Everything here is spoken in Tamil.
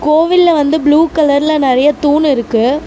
கோவில்ல வந்து ப்ளூ கலர்ல நறைய தூண் இருக்கு.